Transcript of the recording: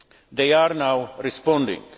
They are now responding.